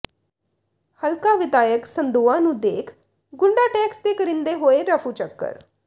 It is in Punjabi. ਹਲਕਾ ਵਿਧਾਇਕ ਸੰਦੋਆ ਨੂੰ ਦੇਖ ਗੁੰਡਾ ਟੈਕਸ ਦੇ ਕਰਿੰਦੇ ਹੋਏ ਰਫੂਚੱਕਰ